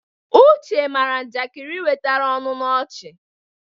Uche mara njakịrị wetara ọṅụ na ọchị.